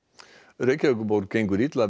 Reykjavíkurborg gengur illa að